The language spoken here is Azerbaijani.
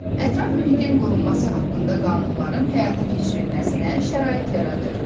Ətraf mühitin qorunması haqqında qanunların həyata keçirilməsinə şərait yaradır.